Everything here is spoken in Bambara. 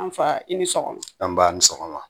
An faa i ni sɔgɔma anba ni sɔgɔma